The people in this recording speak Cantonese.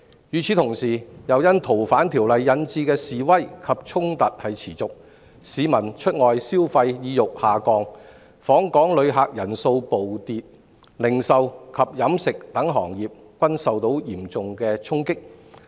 與此同時，《逃犯條例》引致的示威及衝突持續，市民出外消費意欲下降，訪港旅客人數暴跌，零售及飲食等行業均受到嚴重衝擊。